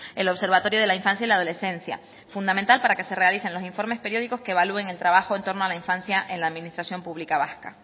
el observatorio de la infancia y la adolescencia fundamental para que se realicen los informes periódicos que evalúen el trabajo en torno a la infancia en la administración pública vasca